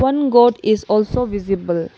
one goat is also visible.